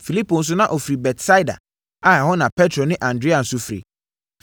Filipo nso na ɔfiri Betsaida a ɛhɔ na Petro ne Andrea nso firi.